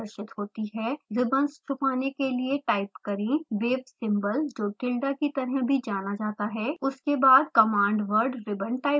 ribbons छुपाने के लिए – टाइप करें wave symbol जो tilda की तरह भी जाना जाता है उसके बाद command वर्ड ribbon टाइप करें